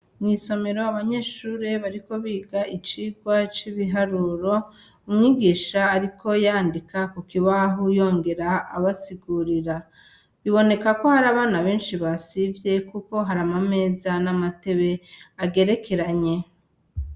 Mw'isomero abanyeshure bariko biga icigwa c'ibiharuro, umwigisha ariko yandika ku kibaho yongere abasigurira, biboneka ko hari abana benshi basivye kuko hari amameza meza n'amatebe agerekeranye.